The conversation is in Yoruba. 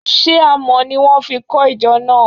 She Àmọ́ ni wọn fi kọ ìjọ náà?